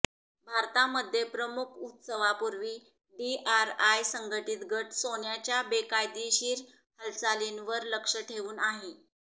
भारतामध्ये प्रमुख उत्सवापूर्वी डीआरआय संघटित गट सोन्याच्या बेकायदेशीर हालचालींवर लक्ष ठेवून आहे